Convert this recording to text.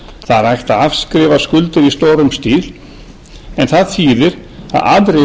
það ætti að afskrifa skuldir í stórum stíl en það þýðir að aðrir þurfa að